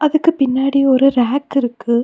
அதுக்கு பின்னாடி ஒரு ரேக் இருக்கு.